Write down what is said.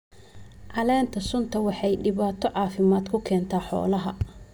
Caleenta suntu waxay dhibaato caafimaad ku keentaa xoolaha.